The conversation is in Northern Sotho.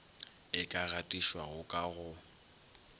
e ka gatišwago ka go